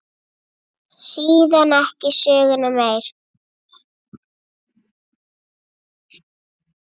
Síðan ekki söguna meir.